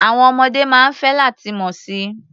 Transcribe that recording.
Àwọn ọmọdé máa ń fẹ́ láti mọ̀ si.